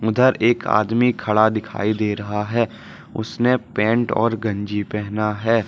उधर एक आदमी खड़ा दिखाई दे रहा हैं उसने पेंट और गंजी पहना है।